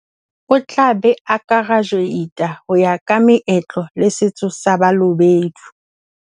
O tla be a kerajuweita ho ya ka meetlo le setso sa Balobedu.